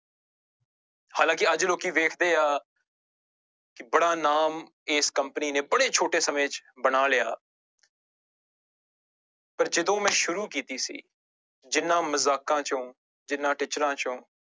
ਹਾਲਾਂਕਿ ਅੱਜ ਲੋਕੀ ਵੇਖਦੇ ਆ ਕਿ ਬੜਾ ਨਾਮ ਇਸ company ਨੇ ਬੜੇ ਛੋਟੇ ਸਮੇਂ ਚ ਬਣਾ ਲਿਆ ਪਰ ਜਦੋਂ ਮੈਂ ਸ਼ੁਰੂ ਕੀਤੀ ਸੀ ਜਿਹਨਾਂ ਮਜ਼ਾਕਾਂ ਚੋਂ ਜਿਹਨਾਂ ਟਿੱਚਰਾਂ ਚੋਂ